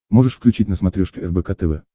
можешь включить на смотрешке рбк тв